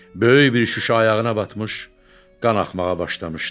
Böyük bir şüşə ayağına batmış, qan axmağa başlamışdı.